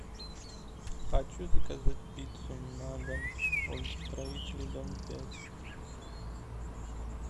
хочу заказать пиццу на дом улица строителей дом пять